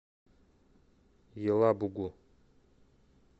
елабугу